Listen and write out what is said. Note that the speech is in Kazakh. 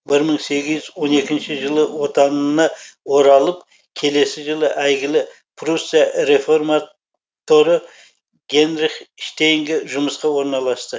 бір мың сегіз жүз он екінші жылы отанына оралып келесі жылы әйгілі пруссия реформат торы генрих штейнге жұмысқа орналасты